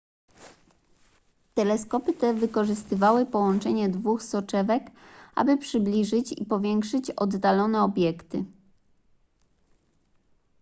teleskopy te wykorzystywały połączenie dwóch soczewek aby przybliżyć i powiększyć oddalone obiekty